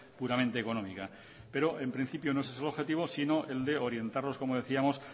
puramente económica pero en principio no es ese el objetivo sino el de orientarlos como decíamos